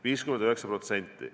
59%.